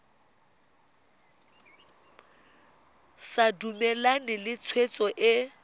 sa dumalane le tshwetso e